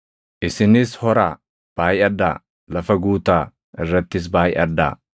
Isinis horaa, baayʼadhaa; lafa guutaa, irrattis baayʼadhaa.”